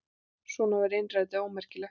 Svona var innrætið ómerkilegt.